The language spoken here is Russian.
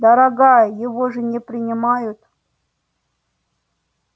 дорогая его же не принимают